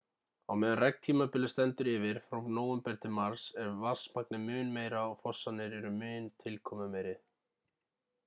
á meðan regntímabilið stendur yfir frá nóvember til mars er vatnsmagnið mun meira og fossarnir eru mun tilkomumeiri